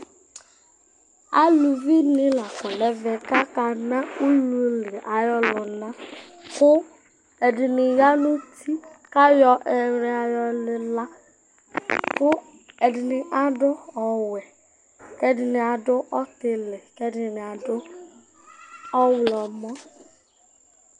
Aluvi nɩla akɔ nʋ ɛvɛ kʋ akana ululi ayʋ ɔlʋna Kʋ ɛdɩnɩ ya nʋ uti, kʋ ayɔ ɛlʋia yɔ lila, kʋ ɛdɩnɩ adʋ ɔwɛ, kʋ ɛdɩnɩ adʋ ɔtɩlɩ, kʋ ɛdɩnɩ adʋ ɔɣlɔmɔ